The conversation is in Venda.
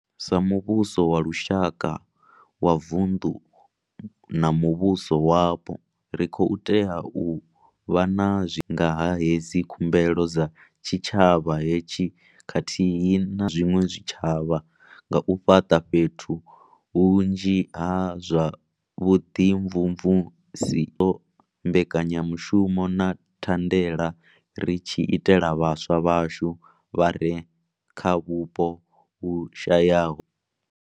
Sa muvhuso wa lushaka, wa vunḓu na muvhuso wapo, ri khou tea u vha na nga ha hedzi khumbelo dza tshitshavha hetshi khathihi na zwiṅwe zwitshavha nga u fhaṱa fhethu hunzhi ha zwa vhuḓimvumvusi, mbekanyamushumo na thandela ri tshi itela vhaswa vhashu vha re kha vhupo hu shayaho.